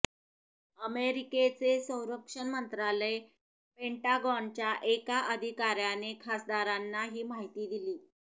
अमेरिकेचे संरक्षण मंत्रालय पेंटागॉनच्या एका अधिकाऱ्याने खासदारांना ही माहिती दिली